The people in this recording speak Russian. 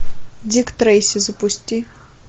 дик трейси запусти